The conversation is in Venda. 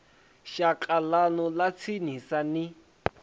shaka ḽanu ḽa tsinisa ni